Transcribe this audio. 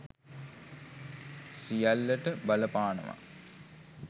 සියල්ලට බලපානවා.